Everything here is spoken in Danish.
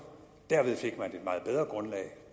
derved fik man et meget bedre grundlag